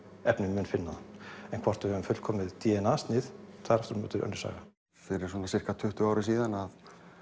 efnið mun finna það en hvort við höfum fullkomið d n a snið það er aftur á móti önnur saga fyrir svona sirka tuttugu árum síðan að